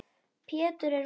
Pétur er veikur.